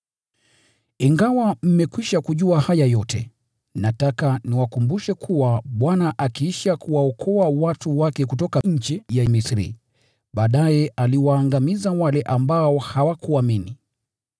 Ingawa mmekwisha kujua haya yote, nataka niwakumbushe kuwa Bwana akiisha kuwaokoa watu wake kutoka nchi ya Misri, baadaye aliwaangamiza wale ambao hawakuamini.